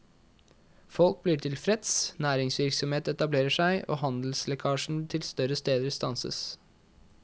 Folk blir tilfreds, næringsvirksomhet etablerer seg, og handelslekkasjen til større steder stanses.